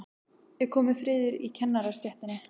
Er kominn friður í kennarastéttinni?